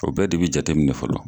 O bɛɛ de be jateminɛ fɔlɔ